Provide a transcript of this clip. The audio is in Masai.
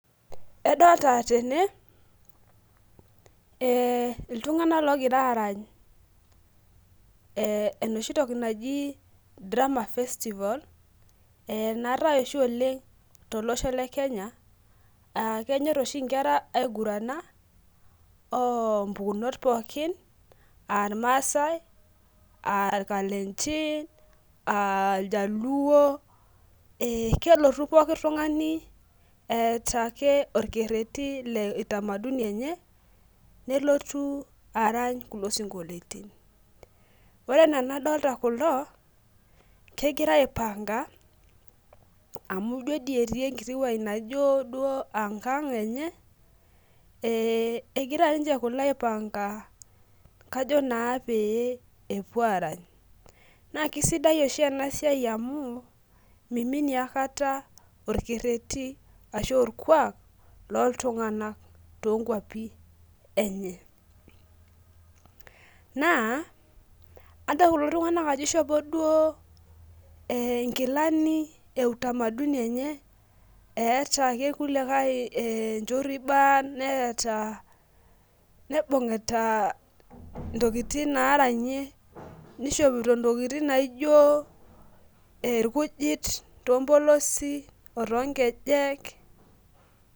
Adolita tene, iltung'ana oogira aarany enooshi toki naji drama festival naatai oshi oleng' tolosho le Kenya. Kenyor oshi inkera aigurana, oo mpukunot pookin , aa ilmaasai, aa lkalenjin, aa ljaluo, kelotu ake pookin ng'ai eata ake olkereti le utamaduni enye nelotu arany kulo sinkoliotin. Ore enaa anadolita kulo, kegirai aipang'a amu ijo dei etii enkiti wueji naijo duo ankang' enye, egira ninche kulo aipang'a kajo naa pee epuo aarany, naa keisidai oshi ena siai amu meiminie aikata olkereti ashu olkuak, lolltung'anak toonkwapi enye. Naa adol kulo tung'ana ajo keishopo duo inkilani e utamaduni enye, eata ake ilkuliakai enchoriban, neibung'ita intokitin naaranyie, neishopito intokin naijo ilkujit too mpolosi o toonkejek.